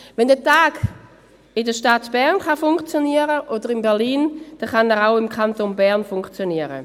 Wenn dieser Tag in der Stadt Bern oder in Berlin funktionieren kann, kann er auch im Kanton Bern funktionieren.